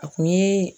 A kun ye